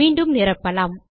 மீண்டும் நிரப்பலாம்